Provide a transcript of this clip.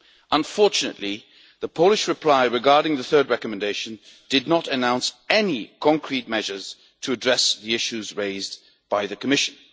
Unfortunately, the Polish reply regarding the third recommendation did not announce any concrete measures to address the issues raised by the Commission.